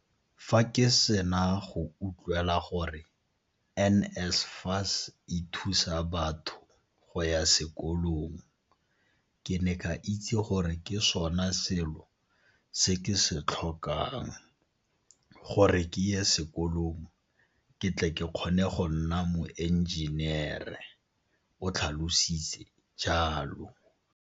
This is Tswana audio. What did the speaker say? Fa ke sena go utlwela gore NSFAS e thusa batho go ya sekolong, ke ne ka itse gore ke sona selo se ke se tlhokang gore ke ye sekolong ke tle ke kgone go nna moenjenere o tlhalositse jalo.